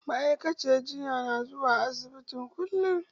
Ma'aikaciyar jinyan na zuwa asibiti kullum